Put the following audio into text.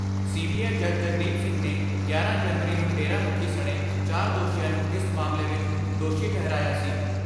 C B I ਜੱਜ ਜਗਦੀਪ ਸਿੰਘ ਨੇ ਗਿਆਰਾਂ ਜਨਵਰੀ ਨੂੰ ਡੇਰਾ ਮੁਖੀ ਸਣੇ ਚਾਰ ਦੋਸ਼ੀਆਂ ਨੂੰ ਇਸ ਮਾਮਲੇ ਵਿਚ ਦੋਸ਼ੀ ਠਹਿਰਾਇਆ ਸੀ।